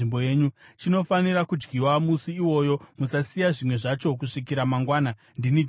Chinofanira kudyiwa musi iwoyo, musasiya zvimwe zvacho kusvikira mangwana. Ndini Jehovha.